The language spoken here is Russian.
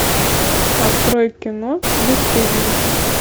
открой кино бесстыдники